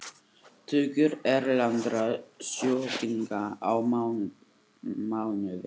Tugir erlendra sjúklinga á mánuði